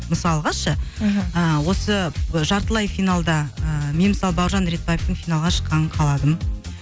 мысалға шы мхм ы осы жартылай финалда ыыы мен мысалы бауыржан ретбаевтың финалға шыққанын қаладым